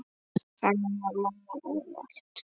Þannig var mamma ávallt.